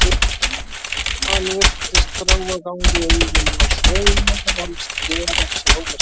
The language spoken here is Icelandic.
Hann virtist þrá að ganga í augun á Sveini, helst gera sig ómissandi.